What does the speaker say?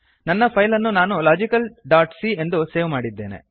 ನನ್ನ ಫೈಲ್ ಅನ್ನು ನಾನು ಲಾಜಿಕಲ್ ಡಾಟ್ ಸಿ ಎಂದು ಸೇವ್ ಮಾಡಿದ್ದೇನೆ